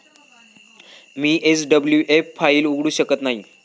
मी SWF फायली उघडू शकत नाही.